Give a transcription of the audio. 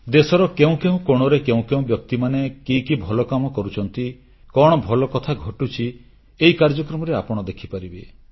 ଦେଶର କେଉଁ କେଉଁ କୋଣରେ କେଉଁ କେଉଁ ବ୍ୟକ୍ତିମାନେ କି କି ଭଲ କାମ କଣ ଭଲକଥା ଘଟୁଛି କରୁଛନ୍ତି ଏହି କାର୍ଯ୍ୟକ୍ରମରେ ଆପଣ ଦେଖିପାରିବେ